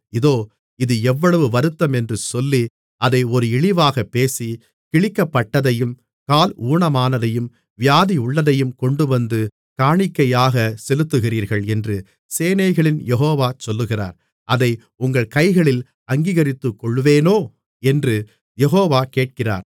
இதோ இது எவ்வளவு வருத்தமென்று சொல்லி அதை ஒரு இழிவாகப் பேசி கிழிக்கப்பட்டதையும் கால் ஊனமானதையும் வியாதியுள்ளதையும் கொண்டுவந்து காணிக்கையாகச் செலுத்துகிறீர்கள் என்று சேனைகளின் யெகோவா சொல்லுகிறார் அதை உங்கள் கைகளில் அங்கீகரித்துக்கொள்வேனோ என்று யெகோவா கேட்கிறார்